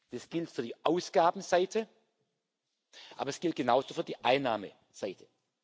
Das gilt für die Ausgabenseite, aber es gilt genauso für die Einnahmenseite.